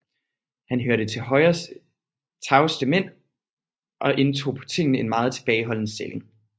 Han hørte til Højres tavseste mænd og indtog på tinge en meget tilbageholden stilling